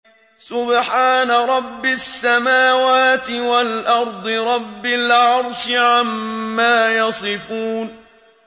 سُبْحَانَ رَبِّ السَّمَاوَاتِ وَالْأَرْضِ رَبِّ الْعَرْشِ عَمَّا يَصِفُونَ